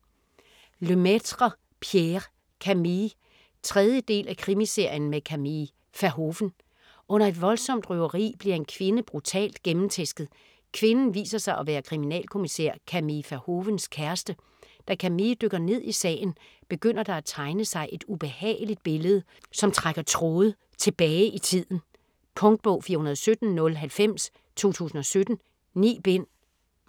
Lemaitre, Pierre: Camille 3. del af Krimiserien med Camille Verhoeven. Under et voldsomt røveri bliver en kvinde brutalt gennemtæsket. Kvinden viser sig at være kriminalkommissær Camille Verhoevens kæreste. Da Camille dykker ned i sagen, begynder der at tegne sig et ubehageligt billede, som trækker tråde tilbage i tiden. Punktbog 417090 2017. 9 bind.